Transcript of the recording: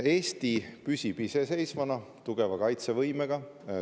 Eesti püsib iseseisvana ja tugeva kaitsevõimega.